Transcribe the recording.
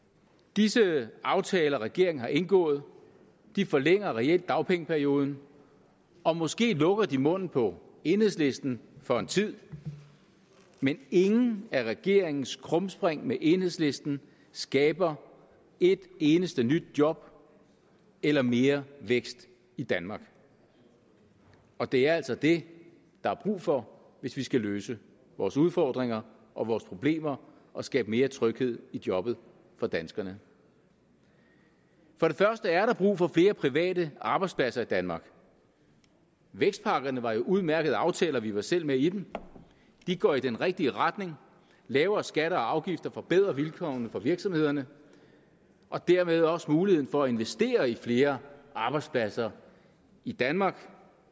disse aftaler regeringen har indgået forlænger reelt dagpengeperioden og måske lukker det munden på enhedslisten for en tid men ingen af regeringens krumspring med enhedslisten skaber et eneste nyt job eller mere vækst i danmark og det er altså det der er brug for hvis vi skal løse vores udfordringer og vores problemer og skabe mere tryghed i jobbet for danskerne for det første er der brug for flere private arbejdspladser i danmark vækstpakkerne var jo udmærkede aftaler vi var selv med i dem de går i den rigtige retning lavere skatter og afgifter forbedrer vilkårene for virksomhederne og dermed også muligheden for at investere i flere arbejdspladser i danmark